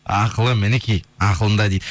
ақылы мінекей ақылында дейді